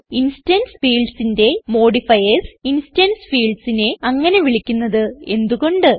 instance fieldsന്റെ modifiers instance fieldsനെ അങ്ങനെ വിളിക്കുന്നത് എന്ത് കൊണ്ട്